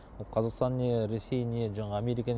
ол қазақстан не ресей не жаңағы америка